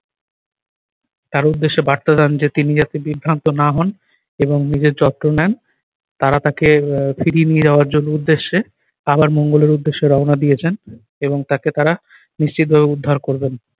তার উদ্দেশ্যে বার্তা দেন তিনি যাতে বিভ্রান্ত না হন এবং নিজের যত্ন নেন তারা তাকে আহ ফিরিয়ে নিয়ে যাওয়ার জন্য উদ্দেশ্যে আবার মঙ্গলের উদ্দেশ্যে রওনা দিয়েছেন এবং তাকে তারা নিশ্চিতভাবে উদ্ধার করবেন।